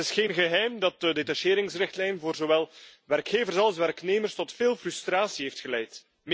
Het is geen geheim dat de detacheringsrichtlijn voor zowel werkgevers als werknemers tot veel frustratie heeft geleid.